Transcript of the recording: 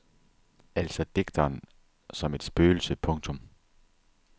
Altså digteren som et spøgelse. punktum